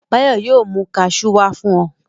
Báyọ̀ yóò mi kaṣú wá fún ọ.